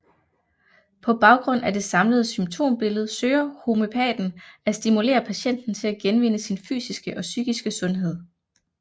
På baggrund af det samlede symptombillede søger homøopaten at stimulere patienten til at genvinde sin fysiske og psykiske sundhed